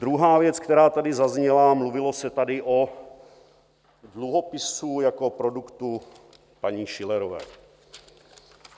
Druhá věc, která tady zazněla - mluvilo se tady o dluhopisu jako produktu paní Schillerové.